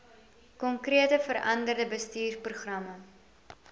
konkrete veranderde bestuursprogramme